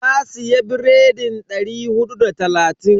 Ta siya biredin dari hudu da talatin.